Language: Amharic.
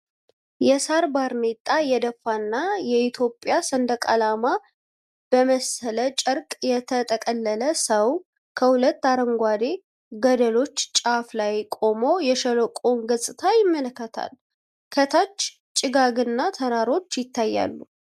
የሳር ባርኔጣ የደፋና የኢትዮጵያ ሰንደቅ ዓላማ በመሰለ ጨርቅ የተጠቀለለ ሰው፣ ከሁለት አረንጓዴ ገደሎች ጫፍ ላይ ቆሞ የሸለቆውን ገጽታ ይመለከታል። ከታች ጭጋግና ተራሮች ይታያሉ።